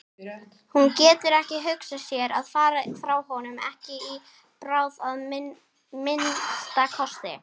Hún getur ekki hugsað sér að fara frá honum, ekki í bráð að minnsta kosti.